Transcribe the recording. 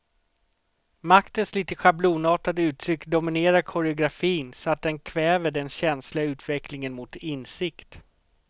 Maktens lite schablonartade uttryck dominerar koreografin så att den kväver den känsliga utvecklingen mot insikt.